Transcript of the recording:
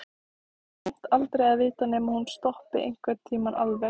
Samt aldrei að vita nema hún stoppi einhvern tímann alveg.